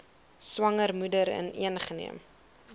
swanger moeder ingeneem